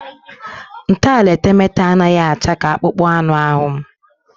Ntọala etemeete a anaghị acha ka akpụkpọ anụ ahụ m